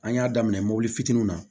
An y'a daminɛ mobili fitininw na